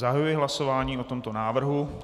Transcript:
Zahajuji hlasování o tomto návrhu.